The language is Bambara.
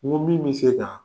Nko min be se ka